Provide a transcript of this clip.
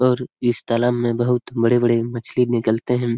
और इस तालाब में बहुत बड़ी बड़ी मछली निकलते है ।.